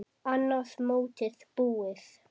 Annað mótið búið!